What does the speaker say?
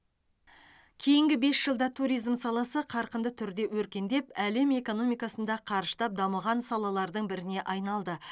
кейінгі бес жылда туризм саласы қарқынды түрде өркендеп әлем экономикасында қарыштап дамыған салалардың біріне айналды